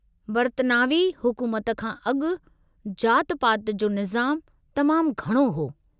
बरितानवी हुकूमत खां अगु॒, जाति-पाति जो निज़ामु तमामु घणो हो।